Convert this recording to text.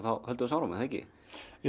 höldum við áfram